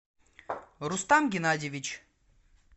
рустам геннадьевич